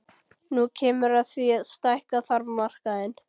Nú kemur að því að stækka þarf markaðinn.